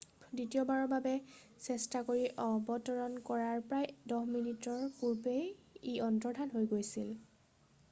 দ্বিতীয়বাৰৰ বাবে চেষ্টা কৰি অৱতৰন কৰাৰ প্ৰায় 10 মিনিটৰ পূৰ্বে ই অন্তৰ্ধান হৈ গৈছিল